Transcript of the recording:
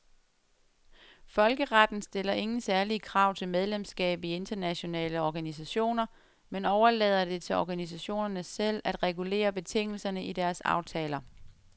Folkeretten stiller ingen særlige krav til medlemskab i internationale organisationer, men overlader det til organisationerne selv at regulere betingelserne i deres aftaler.